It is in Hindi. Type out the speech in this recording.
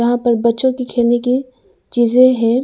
यहां पर बच्चों की खेलने की चीजें हैं।